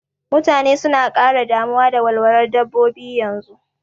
Mutane suna ƙara damuwa da walwalar dabbobi yanzu